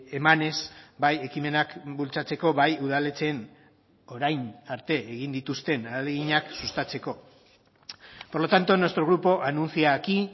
emanez bai ekimenak bultzatzeko bai udaletxeen orain arte egin dituzten ahaleginak sustatzeko por lo tanto nuestro grupo anuncia aquí